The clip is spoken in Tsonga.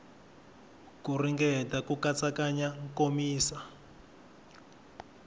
ku ringeta ku katsakanya komisa